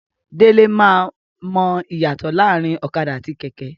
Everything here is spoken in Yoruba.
Dele ma mọ iyatọ laarin ọ̀kadà àti kẹkẹ.